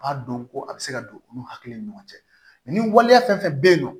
A dɔn ko a bɛ se ka don olu hakili ni ɲɔgɔn cɛ mɛ ni waleya fɛn fɛn bɛ yen nɔ